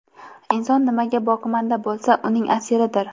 Inson nimaga boqimanda bo‘lsa, uning asiridir.